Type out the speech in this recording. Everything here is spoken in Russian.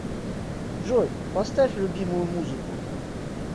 джой поставь любимую музыку